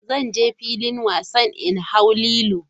Zan je filin wasan in hau lilo.